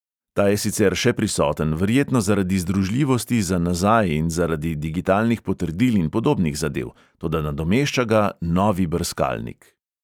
Ta je sicer še prisoten, verjetno zaradi združljivosti za nazaj in zaradi digitalnih potrdil in podobnih zadev, toda nadomešča ga novi brskalnik.